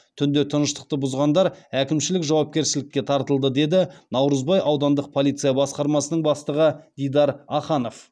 түнде тыныштықты бұзғандар әкімшілік жауапкершілікке тартылды деді наурызбай аудандық полиция басқармасының бастығы дидар аханов